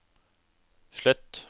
slett